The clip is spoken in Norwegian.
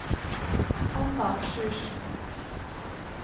Hanna Sjursen